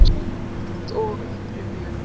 Mynd og upprifjun